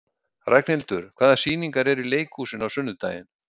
Ragnhildur, hvaða sýningar eru í leikhúsinu á sunnudaginn?